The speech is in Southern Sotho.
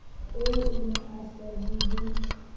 eo o ne a lahlile